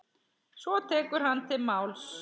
Svo tekur hann til máls